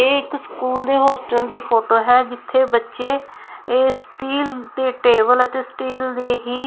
ਇਹ ਇੱਕ ਸਕੂਲ ਦੇ ਹੋਸਟੇਲ ਦੀ ਫੋਟੋ ਹੈ ਜਿੱਥੇ ਬੱਚੇ ਇਹ ਸਟੀਲ ਦੀ ਟੇਬਲ ਅਤੇ ਸਟੀਲ ਦੀ ਹੀ--